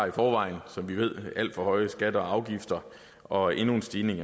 i forvejen alt for høje skatter og afgifter og endnu en stigning